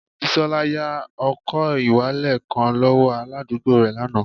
Bisola ya ọkọ-ìwalẹl kan lọwọ aladugbo rẹ lana